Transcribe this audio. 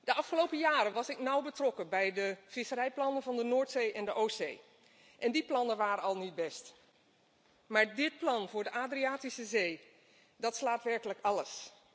De afgelopen jaren was ik nauw betrokken bij de visserijplannen van de Noordzee en de Oostzee en die plannen waren al niet best, maar dit plan voor de Adriatische Zee slaat werkelijk alles.